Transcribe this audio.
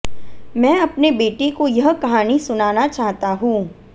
मैं अपने बेटे को यह कहानी सुनाना चाहता हूं